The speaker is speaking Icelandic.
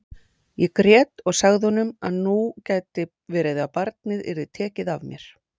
Ég grét og sagði honum að nú gæti verið að barnið yrði tekið af mér.